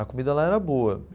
A comida lá era boa.